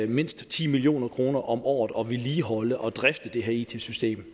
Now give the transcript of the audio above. mindst ti million kroner om året at vedligeholde og drifte det her it system